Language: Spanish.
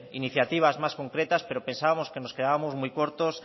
iniciativas más concretas pero pensábamos que nos quedábamos muy cortos